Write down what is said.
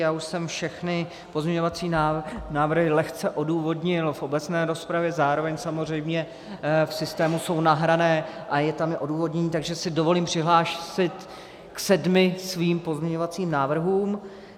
Já už jsem všechny pozměňovací návrhy lehce odůvodnil v obecné rozpravě, zároveň samozřejmě v systému jsou nahrané a je tam i odůvodnění, takže si dovolím přihlásit k sedmi svým pozměňovacím návrhům.